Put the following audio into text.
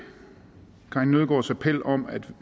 karin nødgaards appel om at vi